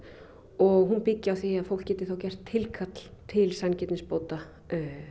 og hún byggi á því að fólk geti þá gert tilkall til sanngirnisbóta